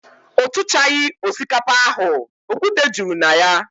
O tuchaghi osikapa ahu, okwute juru na ya.